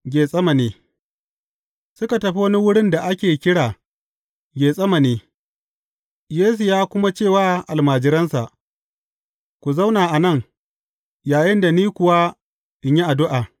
Getsemane Suka tafi wani wurin da ake kira Getsemane, Yesu ya kuma ce wa almajiransa, Ku zauna a nan, yayinda ni kuwa in yi addu’a.